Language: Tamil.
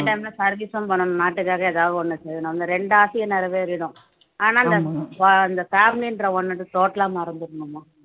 time ல service பண்ணணும் நாட்டுக்காக ஏதாவது ஒண்ணு செய்யணும் இந்த ரெண்டு ஆசையும் நிறைவேறிடும் ஆனால் இந்த family ன்ற ஒண்ணு total ஆ மறந்திரணும்மா